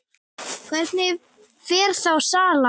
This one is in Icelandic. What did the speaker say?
Hvernig fer þá salan?